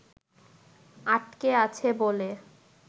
আটকে আছে বলে